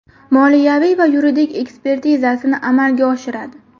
Moliyaviy va yuridik ekspertizasini amalga oshiradi.